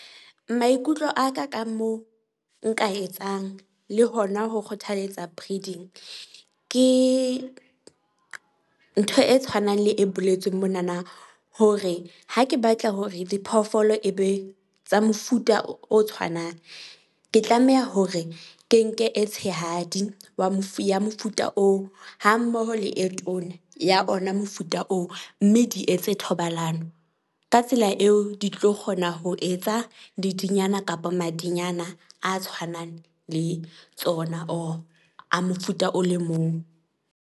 Maikutlo a ka ka mo nka etsang le hona ho kgothaletsa breeding ke ntho e tshwanang le e boletsweng monana, hore ha ke batla hore diphoofolo e be tsa mofuta o tshwanang. Ke tlameha hore ke nke e tshehadi wa mofu ya mofuta oo ha mmoho le e tona ya ona mofuta oo. Mme di etse thobalano. Ka tsela eo di tlo kgona ho etsa lediyana kapa madinyana a tshwanang le tsona, or a mofuta o le mong.